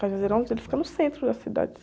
ele fica no centro da cidade.